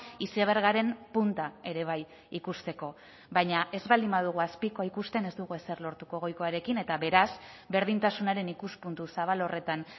izebergaren punta ere bai ikusteko baina ez baldin badugu azpikoa ikusten ez dugu ezer lortuko goikoarekin eta beraz berdintasunaren ikuspuntu zabal horretan